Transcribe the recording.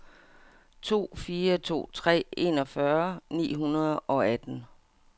to fire to tre enogfyrre ni hundrede og atten